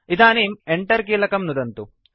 इदानीं Enter कीलकं नुदन्तु